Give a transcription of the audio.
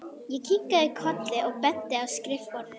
Ég kinkaði kolli og benti á skrifborðið.